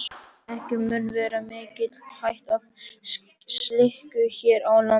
Ekki mun vera mikil hætt á slíku hér á landi.